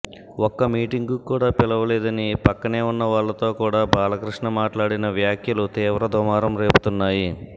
ఒక్క మీటింగ్ కు కూడా పిలవలేదని పక్కనే ఉన్న వాళ్ళతో కూడా బాలకృష్ణ మాట్లాడిన వ్యాఖ్యలు తీవ్ర దుమారం రేపుతున్నాయి